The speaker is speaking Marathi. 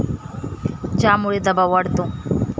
ज्यामुळे दबाव वाढतो.